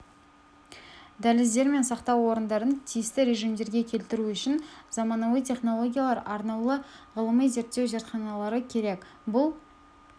дәліздер мен сақтау орындарын тиісті режімдерге келтіру үшін заманауи технологиялар арнаулы ғылыми-зерттеу зертханалары керек бұл